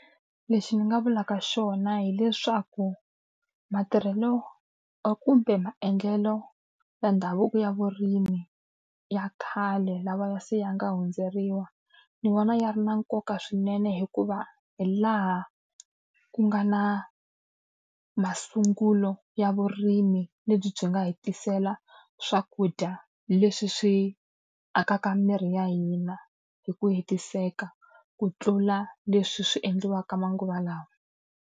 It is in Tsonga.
Lexi ni nga vulaka xona hileswaku matirhelo kumbe maendlelo ya ndhavuko ya vurimi ya khale lawa se ya nga hundzeriwa, ni vona ya ri na nkoka swinene hikuva hi laha ku nga na masungulo ya vurimi lebyi byi nga hi tisela swakudya leswi swi akaka miri ya hina hi ku hetiseka. Ku tlula leswi swi endliwaka manguva lawa.